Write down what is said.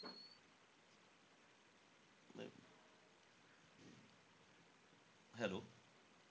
Hello.